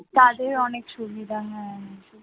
তাদের অনেক সুবিধা হয় হ্যাঁ হ্যাঁ